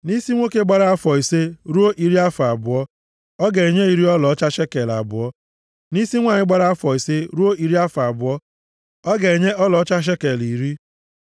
Nʼisi nwoke gbara afọ ise ruo iri afọ abụọ, ọ ga-enye iri ọlaọcha shekel abụọ. Nʼisi nwanyị gbara afọ ise ruo iri afọ abụọ, ọ ga-enye ọlaọcha shekel iri.